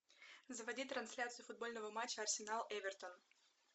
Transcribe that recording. заводи трансляцию футбольного матча арсенал эвертон